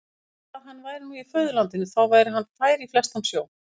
Bara að hann væri nú í föðurlandinu, þá væri hann fær í flestan sjó.